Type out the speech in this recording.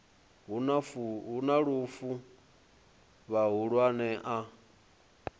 hu na lufu vhahulwane a